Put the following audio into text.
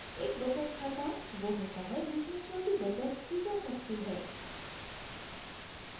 एक बचत खाता savings bank account वो होता है जिसमें छोटी बचत की जा सकती है